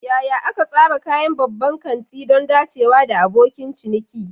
Yaya aka tsara kayan babban kanti don dacewa da abokin ciniki?